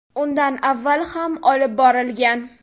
Undan avval ham olib borilgan.